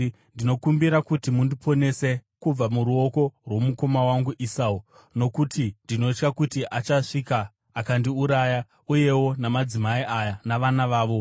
Ndinokumbira kuti mundiponese kubva muruoko rwomukoma wangu Esau, nokuti ndinotya kuti achasvika akandiuraya, uyewo madzimai aya navana vavo.